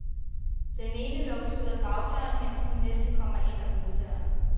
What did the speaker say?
Den ene lukkes ud ad bagdøren, mens den næste kommer ind ad hoveddøren.